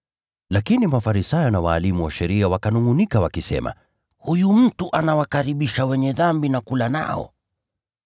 Lakini Mafarisayo na walimu wa sheria wakanungʼunika wakisema, “Huyu mtu anawakaribisha wenye dhambi na kula nao.”